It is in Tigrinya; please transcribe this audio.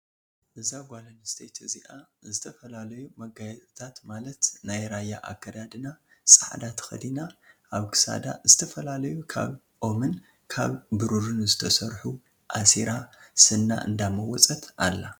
እዛ ጓል ኣነስተይቲ እዚኣ ዝተፈላዩ መጋየፅታት ማለትናይ ራያ ኣከዳድና ፃዕዳ ተከዲናኣብ ክሳዳ ዝተፈላለዩ ካብ ኦምን ካብ ብሩርን ዝተሰርሑ ኣሲራ ስና እንዳመወፀት ኣላ።